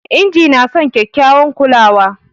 Injin na son kekyawan kulawa